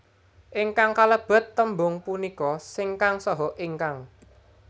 Ingkang kalebet tembung punika sing kang saha ingkang